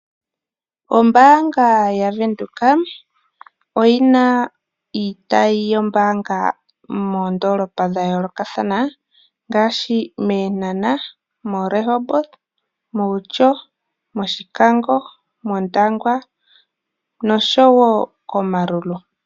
Ombaanga ya Venduka oyina iitayi yombaanga moondoolopa dha yoolokathana, ngaashi mEenhana, mo Rehoboth, Outjo, Oshikango, Ondangwa osho wo kOmaruru.